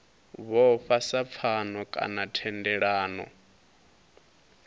vhofha sa pfano kana thendelano